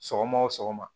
Sɔgɔma o sɔgɔma